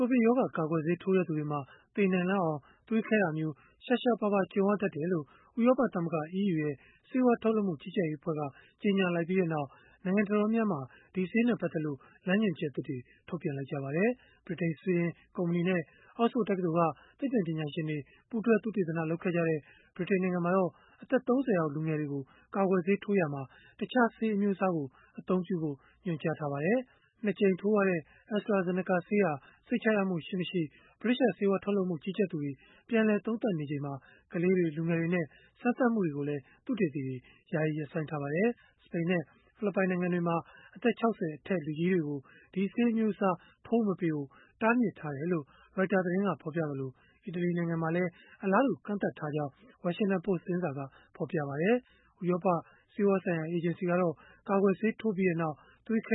ိုဗစ်ရောဂါကာကွယ်ဆေး ထိုးတဲ့သူတွေမှာ သေနိုင်လောက်အောင် သွေးခဲတာမျိုး ရှားရှားပါးပါး ကြုံရတတ်တယ်လို့ ဥရောပ သမဂ္ဂ (EU) ဆေးဝါးထုတ်လုပ်မှု ကြီးကြပ်ရေးအဖွဲ့က ကြေညာလိုက်ပြီးနောက် နိုင်ငံတော်တော်များများမှာ ဒီဆေးနဲ့ ပတ်သက်လို့ လမ်းညွှန်ချက်သစ်တွေ ထုတ်ပြန်လိုက်ကြပါတယ်။ ဗြိတိန်-ဆွီဒင် ကုမ္ပဏီနဲ့ အောက်စ်ဖို့ တက္ကသိုလ်က သိပ္ပံပညာရှင်တွေ ပူးတွဲသုတေသန လုပ်ခဲ့ကြတဲ့ ဗြိတိန်နိုင်ငံမှာတော့ အသက် ၃၀ အောက် လူငယ်တွေကို ကာကွယ်ဆေး ထိုးရာမှာ တခြားဆေး အမျိုးအစားကို အသုံးပြုဖို့ ညွှန်ကြားထားပါတယ်။ ၂ ကြိမ်ထိုးရတဲ့ AstraZeneca ဆေးဟာ စိတ်ချရမှု ရှိမရှိ ဗြိတိသျှဆေးဝါးထုတ်လုပ်မှု ကြီးကြပ်သူတွေ ပြန်လည် သုံးသပ်နေချိန်မှာ ကလေးတွေ၊ လူငယ်တွေနဲ့ စမ်းသပ်မှုတွေကိုလည်း သုတေသီတွေ ယာယီရပ်ဆိုင်းထားပါတယ်။ စပိန်နဲ့ ဖိလစ်ပိုင် နိုင်ငံတွေမှာ အသက် ၆၀ အထက် လူကြီးတွေကို ဒီဆေးအမျိုးအစား ထိုးမပေးဖို့ တားမြစ်ထားတယ်လို့ Reuters သတင်းက ဖော်ပြခဲ့သလို၊ အီတလီနိုင်ငံမှာလည်း အလားတူ ကန့်သတ်ထားကြောင်း Washington Post သတင်းစာက ပြောပါတယ်။ ဥရောပ ဆေးဝါးဆိုင်ရာ အေဂျင်စီကတော့ ကာကွယ်ဆေးထိုးပြီးနောက် သွေးခဲ